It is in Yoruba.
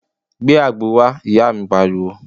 Gbé àgbo wá, ìyá mi pariwo